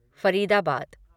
Faridabad